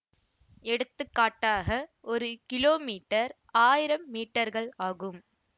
எடுத்துக்காட்டாக ஒரு கிலோமீட்டர் ஆயிரம் மீட்டர்கள் ஆகும்